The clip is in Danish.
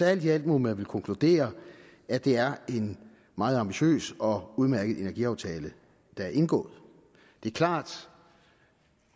alt i alt må man vel konkludere at det er en meget ambitiøs og udmærket energiaftale der er indgået det er klart